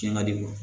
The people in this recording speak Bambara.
Cɛn ka di o ye